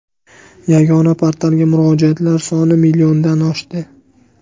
Yagona portalga murojaatlar soni milliondan oshdi.